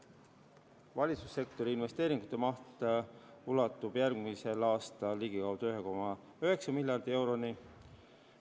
Valitsussektori investeeringute maht ulatub järgmisel aastal ligikaudu 1,9 miljardi euroni.